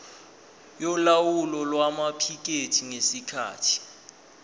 yolawulo lwamaphikethi ngesikhathi